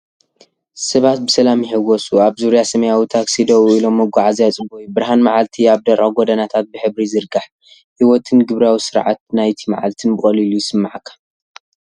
ሰባት ብሰላም ይሕወሱ፣ ኣብ ዙርያ ሰማያዊ ታክሲ ደው ኢሎም፣ መጓዓዝያ ይጽበዩ። ብርሃን መዓልቲ ኣብ ደረቕ ጎደናታት ብሕብሪ ይዝርጋሕ፤ ህይወትን ግብራዊ ስርዓት ናይቲ መዓልቲን ብቐሊሉ ይስመዓካ።